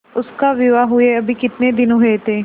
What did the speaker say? उसका विवाह हुए अभी कितने दिन हुए थे